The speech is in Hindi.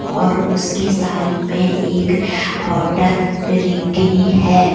और उसके साइड में एक होटल रिंकिनी है।